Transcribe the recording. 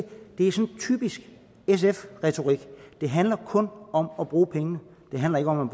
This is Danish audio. det er sådan typisk sf retorik det handler kun om at bruge pengene det handler ikke om